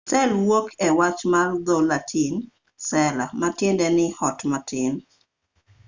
sel wuok e wach mar dho-latin cella ma tiende ni ot matin